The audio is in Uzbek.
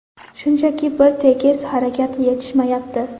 Shunchaki bir tekis harakat yetishmayapti.